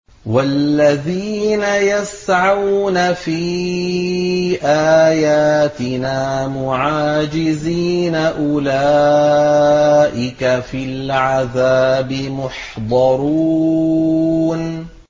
وَالَّذِينَ يَسْعَوْنَ فِي آيَاتِنَا مُعَاجِزِينَ أُولَٰئِكَ فِي الْعَذَابِ مُحْضَرُونَ